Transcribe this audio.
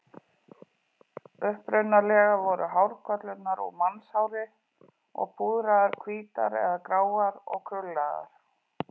Upprunalega voru hárkollurnar úr mannshári og púðraðar hvítar eða gráar og krullaðar.